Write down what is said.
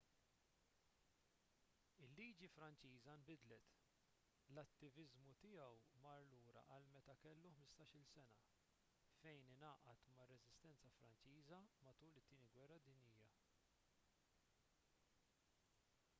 il-liġi franċiża nbidlet l-attiviżmu tiegħu mar lura għal meta kellu 15-il sena fejn ingħaqad mar-reżistenza franċiża matul it-tieni gwerra dinjija